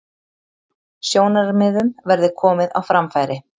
Sjónarmiðum verði komið á framfæri